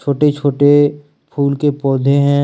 छोटे छोटे फूल के पौधे हैं।